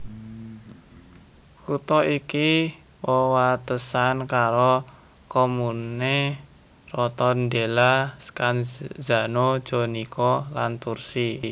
Kutha iki wewatesan karo commune Rotondella Scanzano Jonico lan Tursi